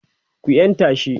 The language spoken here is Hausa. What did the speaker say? ku yanta shi!